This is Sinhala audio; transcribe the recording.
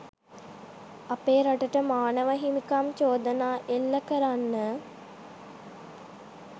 අපේ රටට මානව හිමිකම් චෝදනා එල්ල කරන්න